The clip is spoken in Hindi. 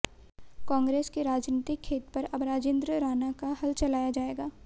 कांगे्रस के राजनीतिक खेत पर अब राजिंद्र राणा का हल चलाया जाएगा